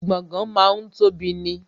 Gbọ̀ngán máa ń tóbi ni